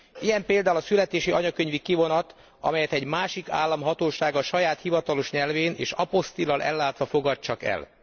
Ilyen például a születési anyakönyvi kivonat, amelyet egy másik állam hatósága saját hivatalos nyelvén és apostille lal ellátva fogad csak el.